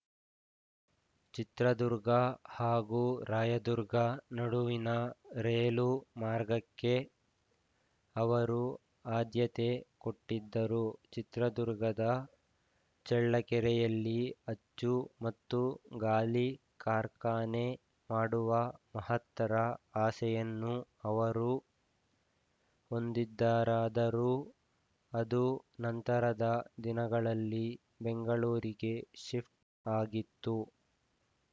ಚಿತ್ರದುರ್ಗ ಹಾಗೂ ರಾಯದುರ್ಗ ನಡುವಿನ ರೇಲು ಮಾರ್ಗಕ್ಕೆ ಅವರು ಆದ್ಯತೆ ಕೊಟ್ಟಿದ್ದರು ಚಿತ್ರದುರ್ಗದ ಚಳ್ಳಕೆರೆಯಲ್ಲಿ ಅಚ್ಚು ಮತ್ತು ಗಾಲಿ ಕಾರ್ಖಾನೆ ಮಾಡುವ ಮಹತ್ತರ ಆಸೆಯನ್ನು ಅವರು ಹೊಂದಿದ್ದರಾದರೂ ಅದು ನಂತರದ ದಿನಗಳಲ್ಲಿ ಬೆಂಗಳೂರಿಗೆ ಶಿಫ್ಟ್‌ ಆಗಿತ್ತು